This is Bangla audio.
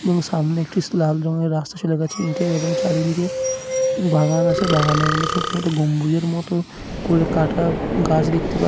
এবং সামনে একটি স লাল রঙের রাস্তা চলে গেছে ইটের এবং চারিদিকে বাগান আছে বাগানের মধ্যে ছোট ছোট গম্বুজের মত করে কাটা গাছ দেখতে পাই--